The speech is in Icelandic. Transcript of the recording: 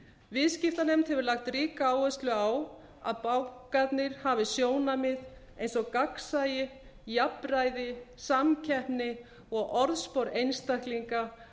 viðskiptanefnd hefur lagt ríka áherslu á að bankarnir hafi sjónarmið eins og gagnsæi jafnræði samkeppni og orðspor einstaklinga